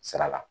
Sira la